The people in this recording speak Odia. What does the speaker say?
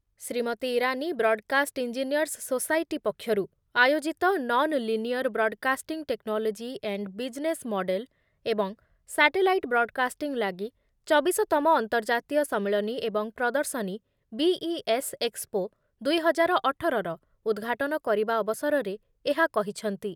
Shrimati Irani broadcast engineers society ପକ୍ଷରୁ ଆୟୋଜିତ non linear broadcasting technology and business model ଏବଂ ସାଟେଲାଇଟ୍ ବ୍ରଡକାଷ୍ଟିଂ ଲାଗି ଚବିଶତମ ଅନ୍ତର୍ଜାତୀୟ ସମ୍ମିଳନୀ ଏବଂ ପ୍ରଦର୍ଶନୀ ବିଇଏସ୍ ଏକ୍ସପୋ ଦୁଇ ହଜାର ଅଠରର ଉଦଘାଟନ କରିବା ଅବସରରେ ଏହା କହିଛନ୍ତି।